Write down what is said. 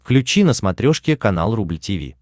включи на смотрешке канал рубль ти ви